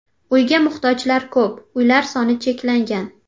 Uyga muhtojlar ko‘p, uylar soni cheklangan.